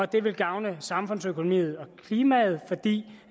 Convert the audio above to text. det vil gavne samfundsøkonomien og klimaet fordi